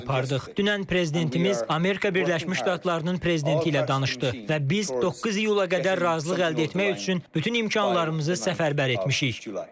Dünən prezidentimiz Amerika Birləşmiş Ştatlarının prezidenti ilə danışdı və biz 9 iyula qədər razılıq əldə etmək üçün bütün imkanlarımızı səfərbər etmişik.